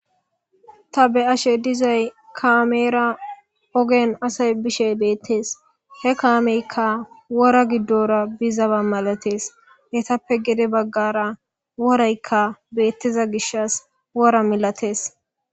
Ta be ashe dizay kaameera ogen asay bishe beettees he kaameyka wora giddora bizaba malatees hetappe gede baggara woraykka beettiza gishas wora milatees.